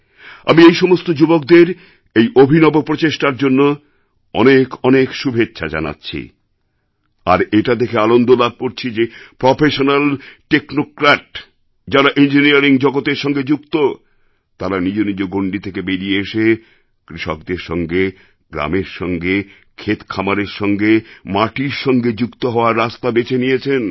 আমি এই সমস্ত যুবকদের এই অভিনব প্রচেষ্টার জন্য অনেক অনেক শুভেচ্ছা জানাচ্ছি আর এটা দেখে আনন্দ লাভ করছি যে প্রফেশনাল টেকনোক্র্যাট যাঁরা ইঞ্জিনিয়ারিং জগতের সঙ্গে যুক্ত তাঁরা নিজ নিজ গণ্ডি থেকে বেরিয়ে এসে কৃষকদের সঙ্গে গ্রামের সঙ্গে ক্ষেতখামারের সঙ্গে মাটির সঙ্গে যুক্ত হওয়ার রাস্তা বেছে নিয়েছেন